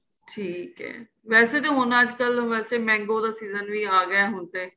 ਠੀਕ ਏ ਵੈਸੇ ਤੇ ਹੁਣ ਤੇ ਅੱਜ ਕੱਲ ਵੈਸੇ ਤਾਂ mango ਦਾ ਵੀ session ਆਂ ਗਿਆ ਹੁਣ ਤੇ